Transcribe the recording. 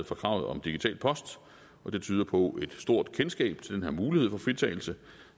fra kravet om digital post og det tyder på et stort kendskab til den her mulighed for fritagelse